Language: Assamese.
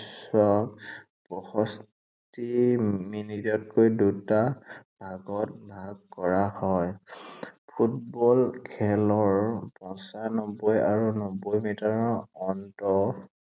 ছোৱাক পয়ষষ্ঠী মিনিটতকৈ দুটা ভাগত ভাগ কৰা হয়। ফুটবল খেলৰ পঞ্চানব্বৈ আৰু নব্বৈ মিটাৰৰ অন্তত